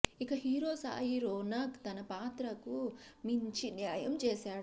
ఇక హీరో సాయి రోనక్ తన పాత్రకు మంచి న్యాయం చేశాడు